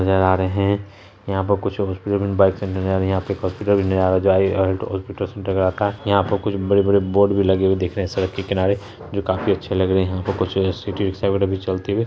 नजर आ रहे हैं यहाँं पे कुछ हॉस्पिटल में यहाँं पे एक हॉस्पिटल भी नजर आ रहा है यहाँं पे कुछ बड़े-बड़े बोर्ड भी लगे हुए दिख रहे हैं सड़क के किनारे जो काफी अच्छे लग रहे हैं यहाँं पे कुछ सिटी रिक्शा वाले भी चलते हुए --